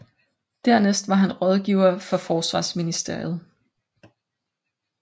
Dernæst var han rådgiver for forsvarsministeriet